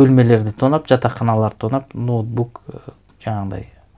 бөлмелерді тонап жатақханаларды тонап ноутбук і жаңағындай